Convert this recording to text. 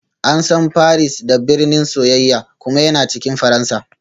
An san Paris da "birnin soyayya" kuma yana cikin Faransa